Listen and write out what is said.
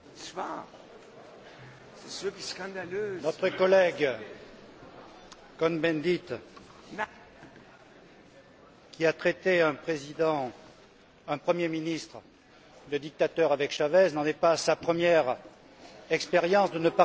Monsieur le Président, notre collègue Cohn Bendit, qui a traité un président, un Premier ministre, de dictateur avec Chavez, n'en est pas à sa première expérience de ne pas respecter la démocratie.